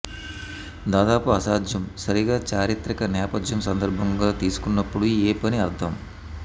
దాదాపు అసాధ్యం సరిగా చారిత్రక నేపథ్యం సందర్భం తీసుకున్న ఉన్నప్పుడు ఏ పని అర్థం